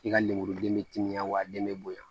I ka lemuruden bɛ timiya wa den bɛ bonya